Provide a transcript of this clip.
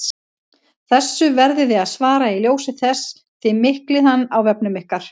Þessu verðið þið að svara í ljósi þess að þið miklið hann á vefnum ykkar!